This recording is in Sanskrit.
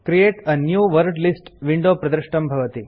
create a new word list window प्रदृष्टं भवति